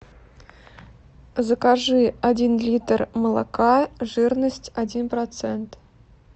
закажи один литр молока жирность один процент